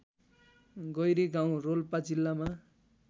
गैरीगाउँ रोल्पा जिल्लामा